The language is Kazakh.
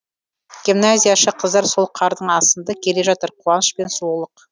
гимназияшы қыздар сол қардың астында келе жатыр қуаныш пен сұлулық